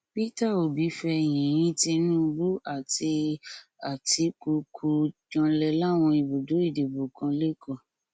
peter obi fẹyìnín tinubu àti àtikukù janlẹ láwọn ibùdó ìdìbò kan lẹkọọ